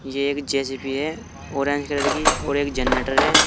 ये एक जे_सी_बी है ऑरेंज कलर की और एक जनरेटर है।